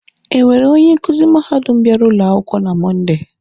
Enwere onye nkuzi mahadum bịara ụlọ akwụkwọ na Mọnde?